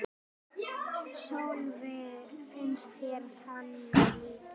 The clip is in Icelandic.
Sölvi: Finnst þér það líklegt?